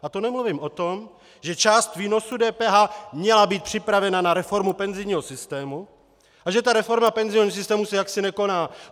A to nemluvím o tom, že část výnosu DPH měla být připravena na reformu penzijního systému a že ta reforma penzijního systému se jaksi nekoná.